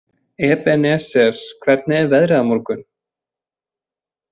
Ebeneser, hvernig er veðrið á morgun?